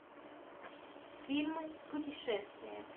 фильмы путешествия